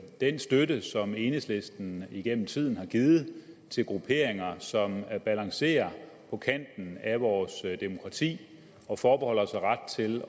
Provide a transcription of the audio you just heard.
den støtte som enhedslisten igennem tiden har givet til grupperinger som balancerer på kanten af vores demokrati og forbeholder sig ret til